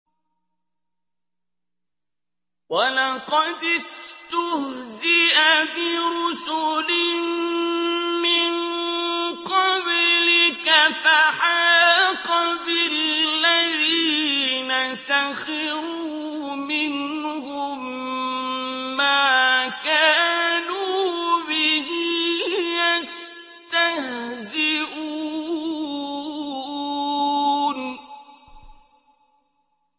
وَلَقَدِ اسْتُهْزِئَ بِرُسُلٍ مِّن قَبْلِكَ فَحَاقَ بِالَّذِينَ سَخِرُوا مِنْهُم مَّا كَانُوا بِهِ يَسْتَهْزِئُونَ